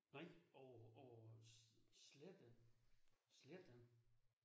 Nej over over slet ikke. Slet ikke